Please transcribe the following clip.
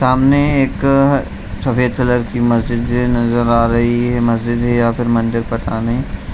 सामने एक सफेद कलर की मस्जिद नजर आ रही है मस्जिद है या फिर मंदिर पता नहीं।